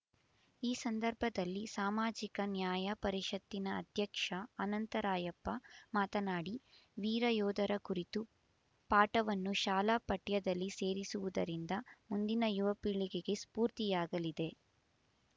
ಈ ಸಂದರ್ಭದಲ್ಲಿ ಸಾಮಾಜಿಕ ನ್ಯಾಯ ಪರಿಷತ್ತಿನ ಅಧ್ಯಕ್ಷ ಅನಂತ ರಾಯಪ್ಪ ಮಾತನಾಡಿ ವೀರ ಯೋಧರ ಕುರಿತ ಪಾಠವನ್ನು ಶಾಲಾ ಪಠ್ಯದಲ್ಲಿ ಸೇರಿಸುವುದರಿಂದ ಮುಂದಿನ ಯುವ ಪೀಳಿಗೆಗೆ ಸ್ಫೂರ್ತಿಯಾಗಲಿದೆ